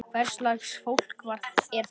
Hvers lags fólk er þetta?